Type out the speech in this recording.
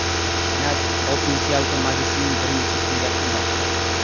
Senat oltinchi yalpi majlisining birinchi kuni yakunlandi.